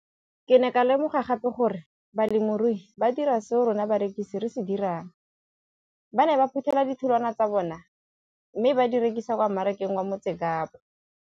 Ke ne ka lemoga gape gore balemirui ba dira seo rona barekisi re se dirang, ba ne ba phuthela ditholwana tsa bona mme ba di rekisa kwa marakeng wa Motsekapa.